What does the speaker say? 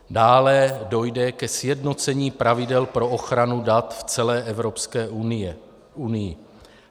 Dále dojde ke sjednocení pravidel pro ochranu dat v celé Evropské unii.